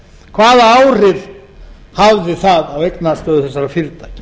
hvaða áhrif hafði það á eignastöðu þessara fyrirtækja